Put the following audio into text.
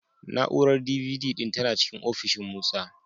Na'urar D.V.D ɗin tana cikin ofishin Musa.